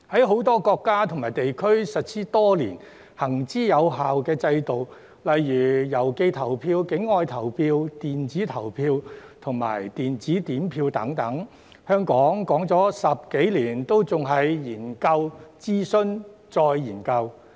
很多國家和地區已實施多年及行之有效的制度，例如郵寄投票、境外投票、電子投票和電子點票等，香港提出了10多年仍處於研究、諮詢、再研究的階段。